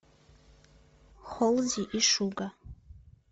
холзи и шуга